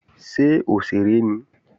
Ṣé òṣèré ni?